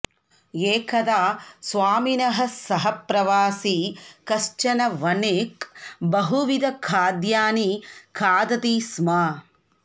एकदा स्वामिनः सहप्रवासी कश्चन वणिक् बहुविधखाद्यानि खादति स्म